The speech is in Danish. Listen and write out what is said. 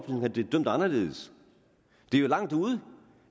havde de dømt anderledes det er jo langt ude